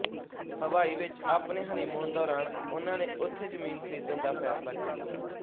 ਹਵਾਈ ਵਿਚ ਆਪਣੇ ਹਨੀਮੂਨ ਦੌਰਾਨ ਉਨ੍ਹਾਂ ਨੇ ਉਥੇ ਜ਼ਮੀਨ ਖਰੀਦਣ ਦਾ ਫੈਸਲਾ ਕੀਤਾ